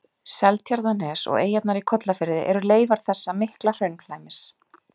Seltjarnarnes og eyjarnar í Kollafirði eru leifar þessa mikla hraunflæmis.